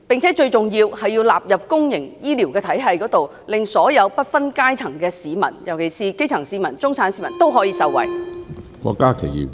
最重要的是，將罕見病納入公營醫療體系，令不分階層的市民，尤其是基層市民、中產市民都受惠。